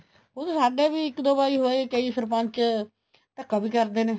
ਉਹ ਤੇ ਸਾਡਾ ਵੀ ਇੱਕ ਦੋ ਵਾਰੀ ਹੋਇਆ ਹੈ ਕਈ ਸਰਪੰਚ ਧੱਕਾ ਵੀ ਕਰਦੇ ਨੇ